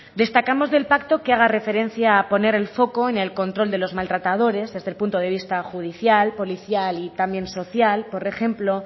destacamos del pacto que haga referencia a poner el foco en el control de los maltratadores desde el punto de vista judicial policial y también social por ejemplo